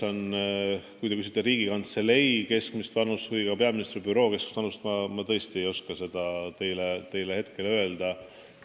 Kui te küsite Riigikantselei personali või eraldi peaministri büroo personali keskmist vanust, siis ma tõesti ei oska seda hoobilt öelda.